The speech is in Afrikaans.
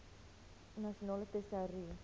nasionale tesourie